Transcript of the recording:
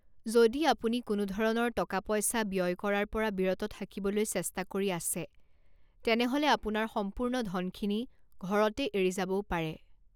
যদি আপুনি কোনো ধৰণৰ টকা পইচা ব্যয় কৰাৰ পৰা বিৰত থাকিবলৈ চেষ্টা কৰি আছে তেনেহ'লে আপোনাৰ সম্পূৰ্ণ ধনখিনি ঘৰতে এৰি যাবও পাৰে।